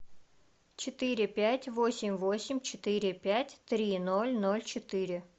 четыре пять восемь восемь четыре пять три ноль ноль четыре